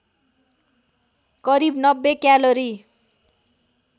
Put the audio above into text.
करिब ९० क्यालोरी